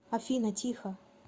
афина тихо